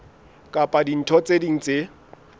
kapa dintho tse ding tse